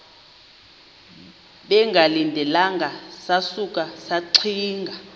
bengalindelanga sasuka saxinga